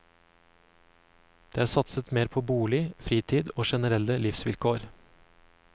Det er satset mer på bolig, fritid og generelle livsvilkår.